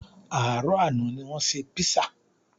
Àárọ̀ àná ní wọ́n ṣe písà